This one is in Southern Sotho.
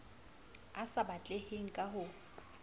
a sa batleheng ka ho